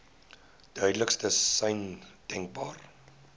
duidelikste sein denkbaar